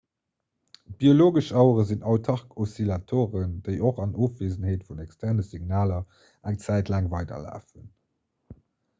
biologesch auere sinn autark oszillatoren déi och an ofwiesenheet vun externe signaler eng zäit laang weiderlafen